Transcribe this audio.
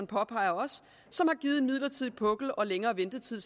påpeger som har givet en midlertidig pukkel og længere ventetid